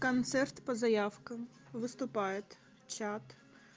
концерт по заявкам выступает чат